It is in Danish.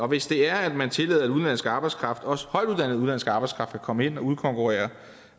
hvis det er at man tillader udenlandsk arbejdskraft også højtuddannet udenlandsk arbejdskraft at komme ind og udkonkurrere